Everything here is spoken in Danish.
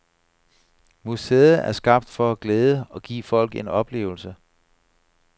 Museet er skabt for at glæde og give folk en oplevelse.